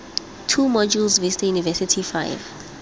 two modules vista university five